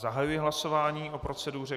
Zahajuji hlasování o proceduře.